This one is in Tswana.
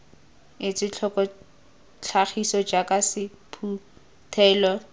etswe tlhoko tlhagiso jaaka sephuthelo